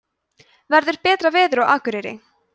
verður betra veður á akureyri